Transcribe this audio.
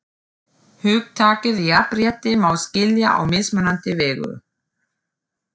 Hugtakið jafnrétti má skilja á mismunandi vegu.